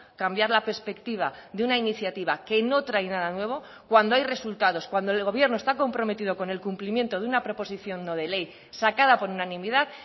cambiar la perspectiva de una iniciativa que no trae nada nuevo cuando hay resultados cuando el gobierno está comprometido con el cumplimiento de una proposición no de ley sacada por unanimidad